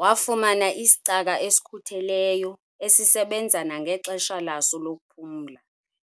Wafumana isicaka esikhutheleyo esisebenza nangexesha laso lokuphumla